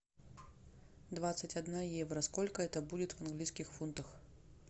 двадцать одна евро сколько это будет в английских фунтах